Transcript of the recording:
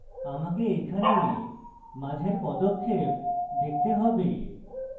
আমাকে এখানে মাঝের পদক্ষেপ দেখতে have